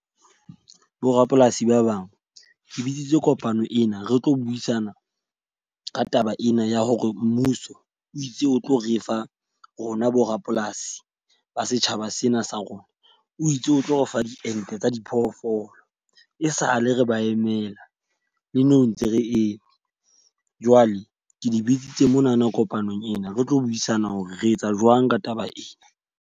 Borapolasi ba bang, ke bitsitse kopano ena re tlo buisana ka taba ena ya hore mmuso o itse o tlo re fa rona bo rapolasi ba setjhaba sena sa rona. O itse o tlo refa diente tsa diphoofolo, e sa le re ba emela le nou ntse re eme. Jwale ke le bitsitse monana kopanong ena re tlo buisana hore re etsa jwang ka taba ena.